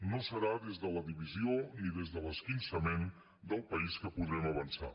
no serà des de la divisió ni des de l’esquinçament del país que podrem avançar